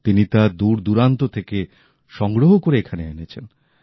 তিনি তা দূর দুরান্ত থেকে সংগ্রহ করে এখানে এনেছেন